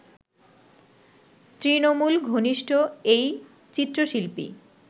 তৃণমূল ঘনিষ্ঠ এই চিত্রশিল্পী